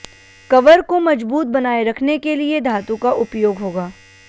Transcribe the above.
cover को मजबूत बनाए रखने के लिए धातु का उपयोग होगा